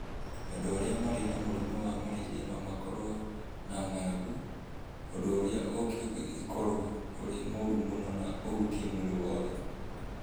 Andũ arĩa marĩ na mũrimũ wa malaria no makorũo na ng'aragu, ũndũ ũrĩa ũngĩkorũo ũrĩ mũru mũno na ũhutie mwĩrĩ wothe.